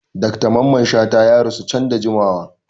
Dr Mamman Shata ya rasuwa can da jimawa.